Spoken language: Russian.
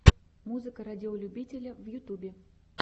музыка радиолюбителя в ютьюбе